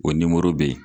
O nimoro be yen